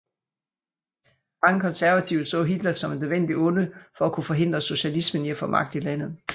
Mange konservative så Hitler som et nødvendigt onde for at kunne forhindre socialismen i at få magt i landet